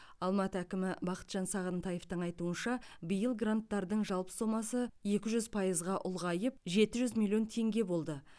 алматы әкімі бақытжан сағынтаевтың айтуынша биыл гранттардың жалпы сомасы екі жүз пайызға ұлғайып жеті жүз миллион теңге болды